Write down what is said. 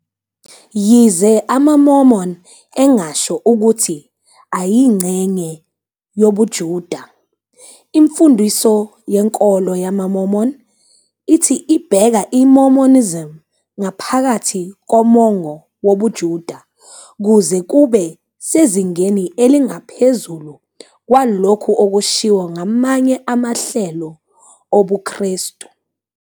Yize amaMormon engasho ukuthi ayingxenye yobuJuda, imfundiso yenkolo yamaMormon ithi ibeka iMormonism ngaphakathi komongo wobuJuda kuze kube sezingeni elingaphezulu kwalokhu okushiwo ngamanye amahlelo obuKrestu.